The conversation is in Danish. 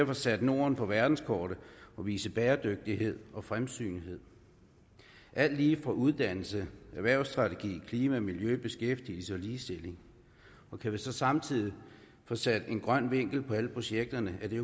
få sat norden på verdenskortet og vise bæredygtighed og fremsynethed alt lige fra uddannelse erhvervsstrategi klima miljø beskæftigelse ligestilling og kan vi så samtidig få sat en grøn vinkel på alle projekterne er det